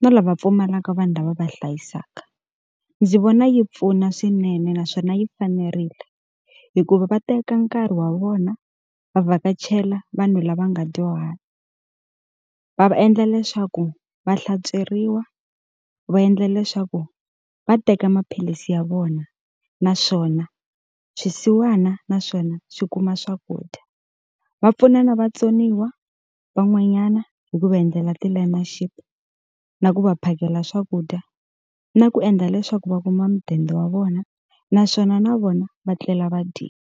na lava pfumalaka vanhu lava va va hlayisaka. Ndzi vona yi pfuna swinene naswona yi fanerile, hikuva va teka nkarhi wa vona va vhakachela vanhu lava nga dyuhala. Va va endla leswaku va hlantsweriwa, va endla leswaku va teka maphilisi ya vona, naswona swisiwana naswona swi kuma swakudya. Va pfuna na vatsoniwa van'wanyana hi ku va endlela ti-learnership, na ku va phakela swakudya, na ku endla leswaku va kuma mudende wa vona, naswona na vona va tlela va dyile.